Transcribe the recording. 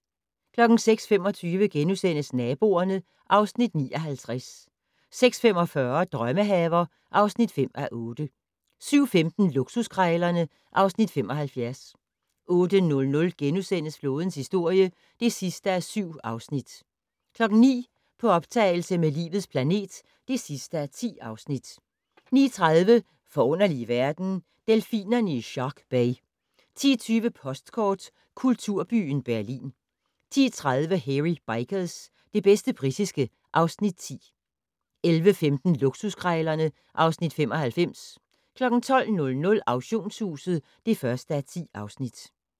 06:25: Naboerne (Afs. 59)* 06:45: Drømmehaver (5:8) 07:15: Luksuskrejlerne (Afs. 75) 08:00: Flådens historie (7:7)* 09:00: På optagelse med Livets planet (10:10) 09:30: Forunderlige verden - Delfinerne i Shark Bay 10:20: Postkort: Kulturbyen Berlin 10:30: Hairy Bikers - det bedste britiske (Afs. 10) 11:15: Luksuskrejlerne (Afs. 95) 12:00: Auktionshuset (1:10)